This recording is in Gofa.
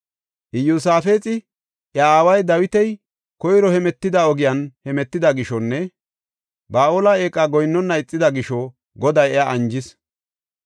Iyosaafexi, iya aaway Dawiti koyro hemetida ogiyan hemetida gishonne Ba7aale eeqa goyinnona ixida gisho Goday iya anjis.